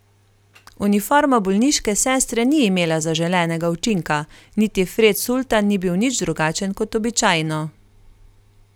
Uniforma bolniške sestre ni imela zaželenega učinka, niti Fred sultan ni bil nič drugačen kot običajno.